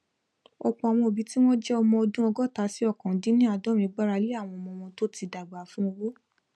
ọpọ àwọn òbí tí wón jẹ ọmọ ọdún ọgóta sí ókàndínníàádọrin gbarale àwọn ọmọ wọn tó ti dàgbà fún owó